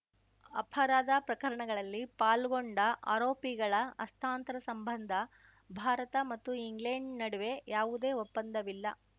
ಅಪರಾಧ ಪ್ರಕರಣಗಳಲ್ಲಿ ಪಾಲ್ಗೊಂಡ ಆರೋಪಿಗಳ ಹಸ್ತಾಂತರ ಸಂಬಂಧ ಭಾರತ ಮತ್ತು ಇಂಗ್ಲೆಂಡ್‌ ನಡುವೆ ಯಾವುದೇ ಒಪ್ಪಂದವಿಲ್ಲ